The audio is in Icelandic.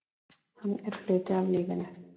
Hann er hluti af lífinu.